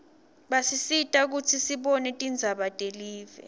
basisita kutsi sibone tindzaba telive